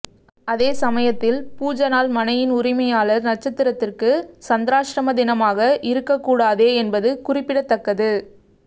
அதே சமயத்தில் பூஜை நாள் மனையின் உரிமையாளர் நட்சத்திரத்திற்கு சந்திராஷ்டம தினமாக இருக்கக்கூடாதே என்பது குறிப்பிடத்தக்கது